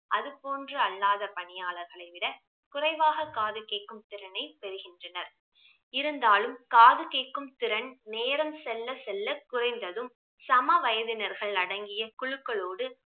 அதுபோன்று அல்லாத பணியாளர்களை விட குறைவாக காது கேட்கும் திறனை பெறுகின்றனர் இருந்தாலும் காது கேட்கும் திறன் நேரம் செல்ல செல்ல குறைந்ததும் சம வயதினர்கள் அடங்கிய குழுக்களோடு